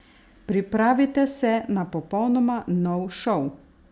Pripravite se na popolnoma nov šov!